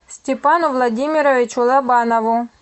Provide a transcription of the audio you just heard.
степану владимировичу лобанову